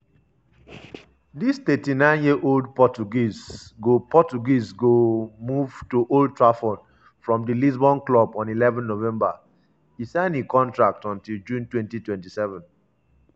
di 39-year-old portuguese go portuguese go move to old trafford from di lisbon club on eleven november - e sign a contract until june 2027.